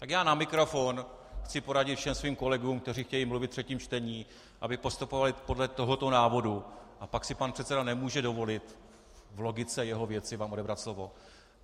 Tak já na mikrofon chci poradit všem svým kolegům, kteří chtějí mluvit ve třetím čtení, aby postupovali podle tohoto návodu, a pak si pan předseda nemůže dovolit v logice jeho věci vám odebrat slovo.